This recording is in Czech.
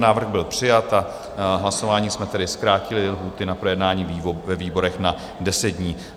Návrh byl přijat a hlasováním jsme tedy zkrátili lhůty na projednání ve výborech na 10 dní.